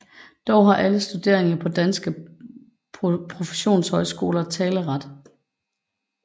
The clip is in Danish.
Dog har alle studerende på danske professionshøjskoler en taleret